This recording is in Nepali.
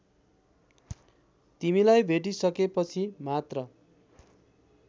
तिमीलाई भेटिसकेपछि मात्र